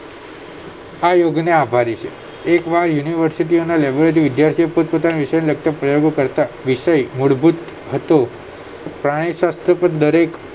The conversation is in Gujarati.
આયોગ ને આભારી છે એકવાર યુનિવર્સિટી ના laboratory વિદ્યાર્થીઓ પોતપોતાના વિષયોને લગતા પ્રયોગો કરતા વિષય મૂળભૂત હતો પ્રાણીશાસ્ત્ર પર દરેક